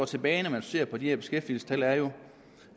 tilbage når man ser på de her beskæftigelsestal er jo